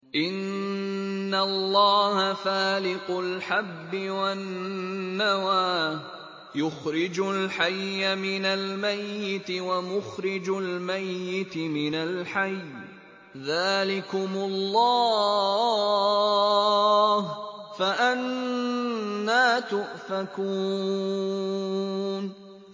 ۞ إِنَّ اللَّهَ فَالِقُ الْحَبِّ وَالنَّوَىٰ ۖ يُخْرِجُ الْحَيَّ مِنَ الْمَيِّتِ وَمُخْرِجُ الْمَيِّتِ مِنَ الْحَيِّ ۚ ذَٰلِكُمُ اللَّهُ ۖ فَأَنَّىٰ تُؤْفَكُونَ